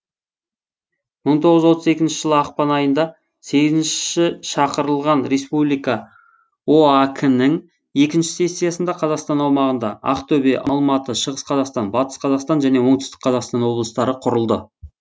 мың тоғыз жүз отыз екінші жылы ақпан айында сегізінші шақырылған республика оак інің екінші сессиясында қазақстан аумағында ақтөбе алматы шығыс қазақстан батыс қазақстан жөне оңтүстік қазақстан облыстары құрылды